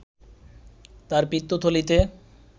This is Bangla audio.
তার পিত্তথলীতে